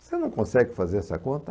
Você não consegue fazer essa conta?